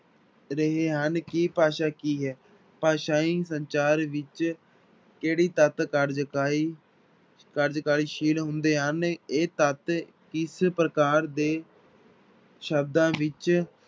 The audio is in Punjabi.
ਰਹੇ ਹਨ ਕਿ ਭਾਸ਼ਾ ਕੀ ਹੈ, ਭਾਸ਼ਾਈ ਸੰਚਾਰ ਵਿੱਚ ਕਿਹੜੇ ਤੱਤ ਕਾਰਜਕਾਲੀ, ਕਾਰਜਕਾਲੀ ਸ਼ੀਲ ਹੁੰਦੇ ਹਨ ਇਹ ਤੱਤ ਇਸ ਪ੍ਰਕਾਰ ਦੇ ਸ਼ਬਦਾਂ ਵਿੱਚ